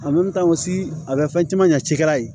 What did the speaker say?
a bɛ fɛn caman ɲɛ cikɛla ye